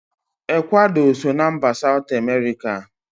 Ekwado so na mba Satu Emerika